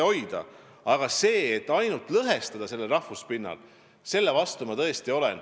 Aga kui püütakse ainult lõhestada rahvuspinnal – selle vastu ma tõesti olen.